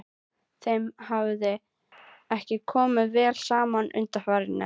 Þeim hafði ekki komið vel saman undanfarið.